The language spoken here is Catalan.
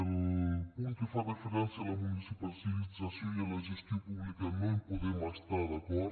el punt que fa referència a la municipalització i a la gestió pública no hi podem estar d’acord